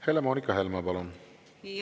Helle-Moonika Helme, palun!